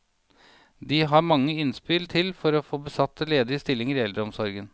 De har mange innspill til å få besatt ledige stillinger i eldreomsorgen.